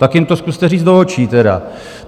Tak jim to zkuste říct do očí tedy.